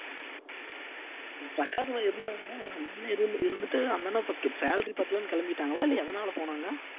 இருந்தாங்கன்னா இருந்துட்டு அந்த அண்ணா salary பத்தலைன்னு கிளம்பிட்டாங்களா இல்ல எதனால போனாங்க